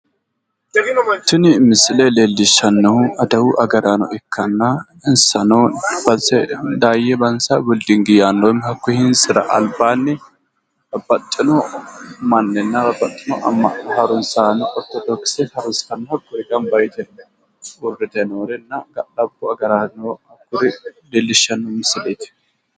Tini misile leellishannohu adawu agaraano ikkanna